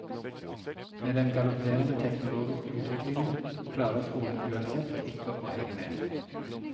Med den galopperende teknologiske utviklingen klarer skolen uansett ikke å henge med.